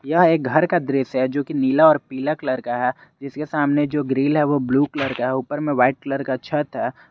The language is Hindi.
यह एक घर का दृश्य है जो कि नीला और पीला कलर का है जिसके सामने जो ग्रिल है वो ब्ल्यू कलर का है ऊपर में व्हाइट कलर का छत है।